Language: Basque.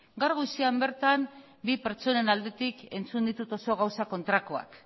gaur goizean bertan bi pertsonen aldetik entzun ditut oso gauza kontrakoak